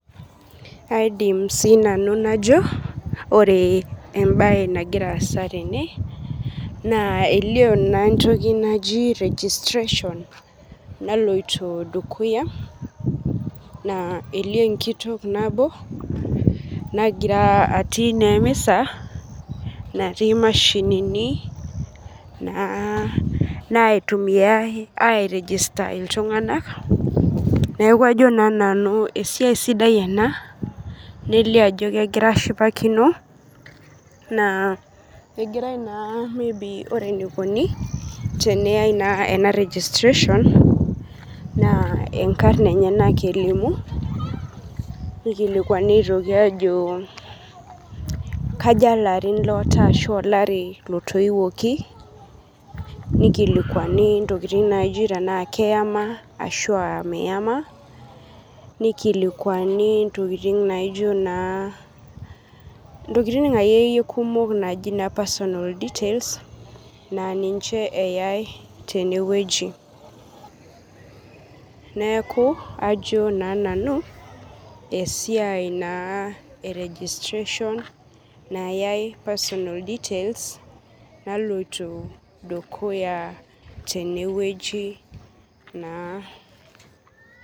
aidim sinanu najo, ore embae nangira asa tene, na elio na entoki najo registration naloito dukuya, na elio enkitok nabo nangira atii na emisa nati imashinini naitumiayiae eregister iltunganak, niaku ajo na nanu esiai sidai ena nelio ajo kengirae ashipakino, na engirae na maybe ore enaikoni teneyae na ena registration, na inkarn enyanak elimu nikilikuani aitoki ajo kaja ilarin oata ashu olari etoiwuoki, nikilikuani ntokitin naji tena keyama ashu tena meyama, nikilikuani intokini naijio akeyie kumok naji personal details,.na ninche eyae teneweuji, niaku ajo na nanu esiai na e rejistration nayae personal details naloito dukuya teneweuji naa.